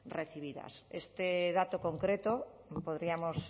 recibidas este dato concreto podríamos